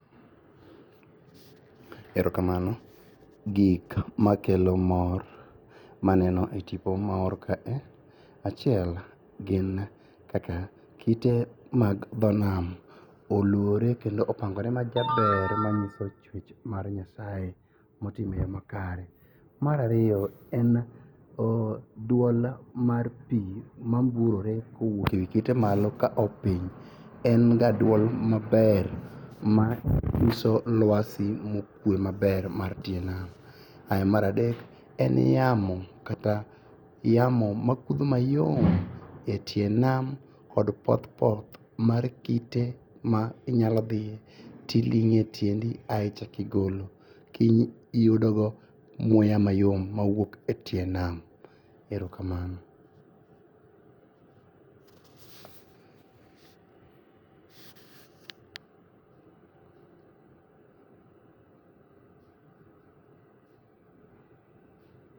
Erokamano. Gik makelo mor maneno e tipo moor kae, achiel gin kaka kite mag dho nam oluore kendo opangore majaber manyiso tich mar Nyasaye motimre makare. Mar ariyo en duol mar pii mamburore e wii kite malo kao piny. Enga duol maber manyiso luasi mar kue maber mar tie nam. Mar adek en yamo kata yamo makudho mayom e tie nam kod poth poth mar kite minyalodhi tiling'e tiendi ae ichako igolo kiyudogo muya mayom mawuok etie nam. Erokamano.